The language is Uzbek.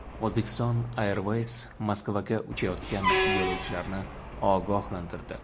Uzbekistan Airways Moskvaga uchayotgan yo‘lovchilarni ogohlantirdi.